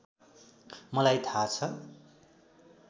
मलाई थाहा छ